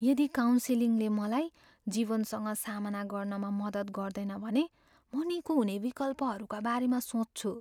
यदि काउन्सिलिङले मलाई जीवनसँग सामना गर्नमा मद्दत गर्दैन भने म निको हुने विकल्पहरूका बारेमा सोच्छु।